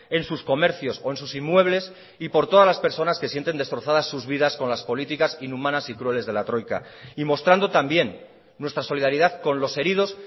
en sus comercios o en sus inmuebles y por todas las personas que sienten destrozadas sus vidas con las políticas inhumanas y crueles de la troika y mostrando también nuestra solidaridad con los heridos